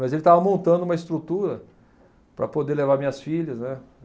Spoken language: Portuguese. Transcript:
Mas ele estava montando uma estrutura para poder levar minhas filhas, né?